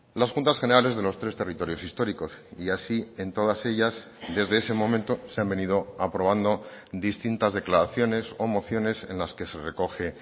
las juntas generales de los tres territorios históricos y así en todas ellas desde ese momento se han venido aprobando distintas declaraciones o mociones en las que se recoge